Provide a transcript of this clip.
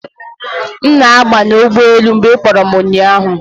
M na-abanye ụgbọ elu mgbe ị kpọrọ m ụnyahụ